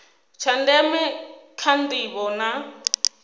tsha ndeme kha ndivho na